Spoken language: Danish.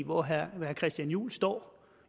hvor herre christian juhl står